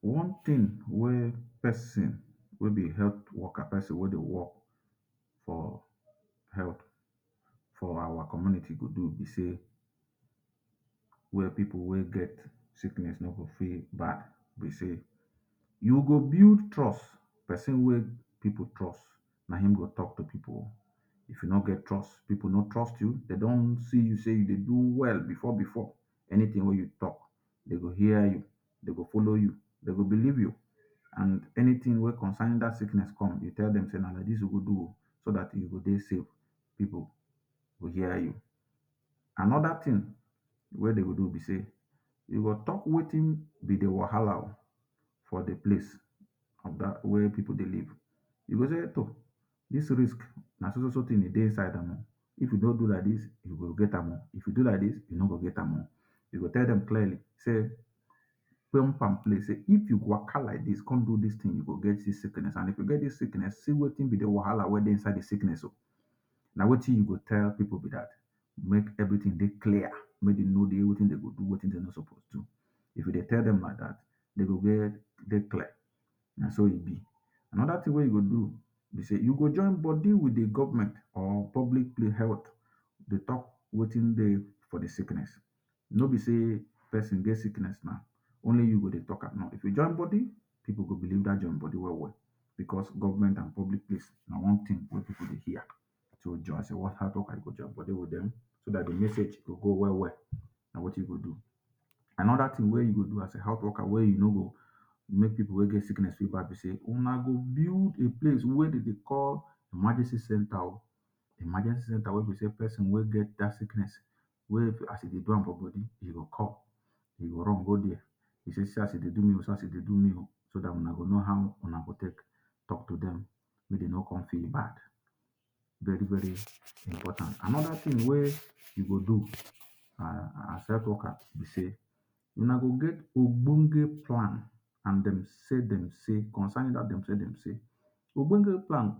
One thing wey person wey be health worker person wey de work for health for our community go do be sey wey pipu wey get sickness no go feel bad be sey you go build trust person wey pipu trust na him go talk to pipu if you no get trust pipu no trust you them don see you de do well before before anything wey you talk dem go hear you dem go follow you dem go believe you and anything wey concern that sickness come you tell dem say na like dis we go do ooh so that e go de safe pipu go hear you. Another thing wey dem go do be sey you go talk wetin be the wahala o for the place of where pipu de live you go sey toh this risk na so so tin de inside amm ooh if you no do like dis you go get amm ooh, If you do like dis you no go get amm ooh, you go tell dem clearly sey pump and plain sey if you waka like dis come do dis tin you go get dis sickness and if you get dis sickness see wetin be the wahala wey de inside dis sickness ooh na wetin you go tell pipu be dat make everything de clear make dem know wetin dem go wein dem no suppose to do if you de tell dem like dat dem go de clear na so e be. Another thing you go do be sey you go join body with the Government or public health de talk wetin de for the sickness no be sey person get sickness now only you go de talk amm no if you join body pipu go believe dat join body well well because government and public place na one thing wey pipu de hear so that the message go well well na wetin you go do. Another thing wey you go do as a health worker wey you no go make pipu wey get sickness no go feel bad be sey una go build a place wey dem de call emergency center oh emergency center wey be sey person wey get that sickness wey as e de do am for body e go come he go run go there say see as e de do me ooh see as e de do me ooh so una go know how una go talk to dem make dem no come feel bad very very important. Another thing wey una go do as health worker be sey una go get ogbonge plan and dem say dem say concerning dat dem say dem say ogbonge plan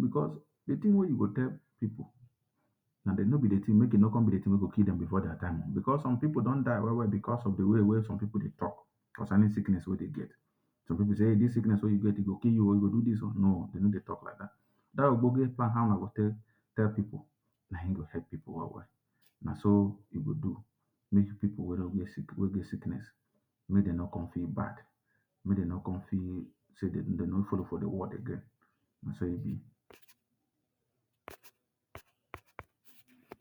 because the thing wey you go tell pipu make e no come be the thing wey go kill dem before their time ooh because some pipu don die well well because of the wey some pipu de talk concerning sickness wey dem get. Some pipu say um dis sickness wey you get go kill you ooh e go do dis one no dem no de talk like dat dat ogbonge plan how una go take tell pipu na im go help pipu well well na so you go do make pipu wey get sickness make dem no come feel bad make dem no come feel sey dem no follow for the world again na so e be.